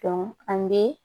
an bɛ